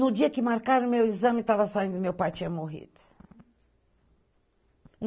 No dia que marcaram meu exame e tava saindo, meu pai tinha morrido.